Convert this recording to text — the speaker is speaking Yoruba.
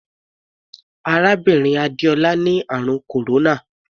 Arábìnrin Adéọlá ni àrùn kòróná.